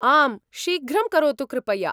आम्, शीघ्रं करोतु कृपया।